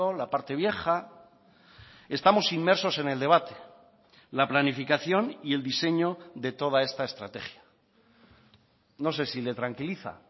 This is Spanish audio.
la parte vieja estamos inmersos en el debate la planificación y el diseño de toda esta estrategia no sé si le tranquiliza